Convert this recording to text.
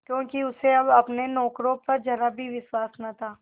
क्योंकि उसे अब अपने नौकरों पर जरा भी विश्वास न था